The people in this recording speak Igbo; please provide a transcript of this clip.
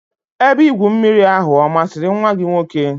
Ebe igwu mmiri ahụ ọ masịrị nwa gị nwoke?